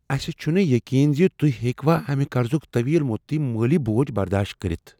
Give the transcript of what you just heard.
اسہ چھنہٕ یقین ز تہۍ ہیٚکوا امہ قرضک طویل مدتی مٲلی بوجھ برداشت کٔرتھ۔